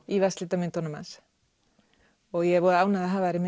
í vatnslitamyndunum hans ég er voða ánægð að hafa þær í